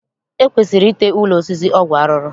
E kwesiri ite ụlọ osisi ọgwụ arụrụ